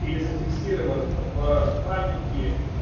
или зафиксирован в панике